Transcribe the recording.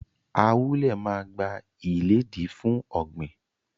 Ahule maa gba-iledi fun ogbin.